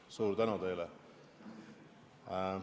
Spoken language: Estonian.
Suur tänu teile!